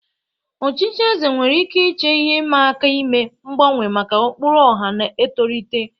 Ọchịchị eze nwere ike iche ihe ịma aka ime mgbanwe maka ụkpụrụ ọha na-etolite.